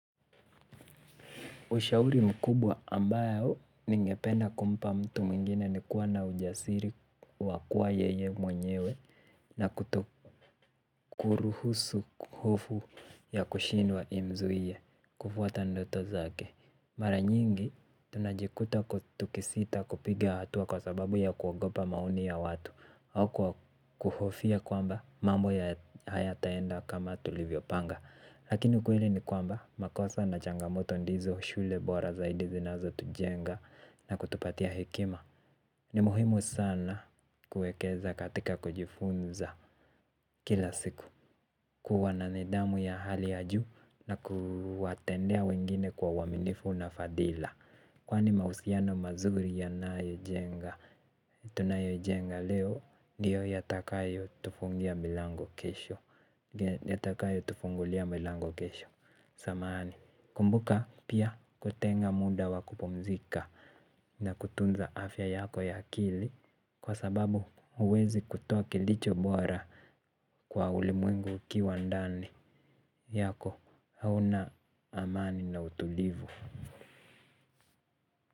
Ushauri mkubwa ambayo ningependa kumpa mtu mwingine ni kuwa na ujasiri wakua yeye mwenyewe na kuto kuruhusu kuhofu ya kushindwa imzuie kufuata ndoto zake. Maranyingi tunajikuta kutukisita kupiga hatua kwa sababu ya kuagopa maoni ya watu au kuhofia kwamba mambo ya hayataenda kama tulivyo panga. Lakini kweli ni kwamba makosa na changamoto ndizo shule bora zaidi zinazo tujenga na kutupatia hekima. Ni muhimu sana kuekeza katika kujifunza kila siku. Kuwa na nidhamu ya hali ya juu na kuwatendea wengine kwa uwaminifu na fadila. Kwani mahusiano mazuri yanayo jenga, tunayoijenga leo ndio yatakayo tufungulia milango kesho yatakayo tufungulia milango kesho. Samahani kumbuka pia kutenga muda wakupumzika na kutunza afya yako ya kili. Kwa sababu uwezi kutoa kilicho bora kwa ulimwengu ukiwa ndani yako hauna amani na utulivu.